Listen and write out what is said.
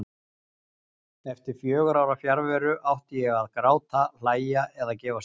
Eftir fjögurra ára fjarveru. átti ég að gráta, hlæja eða gefast upp?